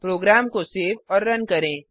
programme को save और run करें